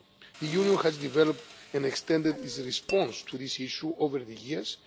The Union has developed and extended its response to this issue over the years.